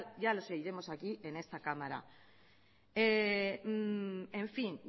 ya los oiremos aquí en esta cámara en fin